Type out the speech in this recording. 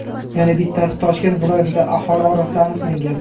Yana bittasi Toshkent viloyatida aholi orasida aniqlangan.